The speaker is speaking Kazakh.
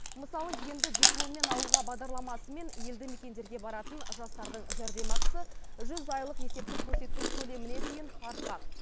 мысалы енді дипломмен ауылға бағдарламасымен елді мекендерге баратын жастардың жәрдемақысы жүз айлық есептік көрсеткіш көлеміне дейін артпақ